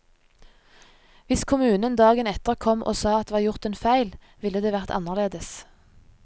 Hvis kommunen dagen etter kom og sa det var gjort en feil, ville det vært annerledes.